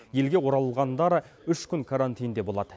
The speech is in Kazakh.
елге оралғандар үш күн карантинде болады